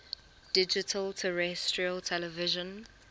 digital terrestrial television